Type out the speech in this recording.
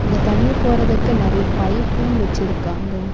இங்க தண்ணி போறதுக்கு நெறய பைப்பும் வச்சிருக்காங்க.